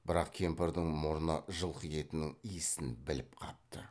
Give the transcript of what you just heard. бірақ кемпірдің мұрны жылқы етінің иісін біліп қапты